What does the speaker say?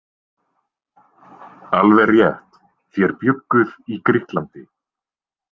Alveg rétt, þér bjugguð í Grikklandi.